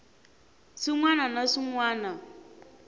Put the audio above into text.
swin wana na swin wana